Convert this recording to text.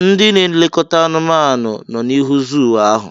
Ndị n'elekọta anumanu nọ n'ihu zuu ahụ.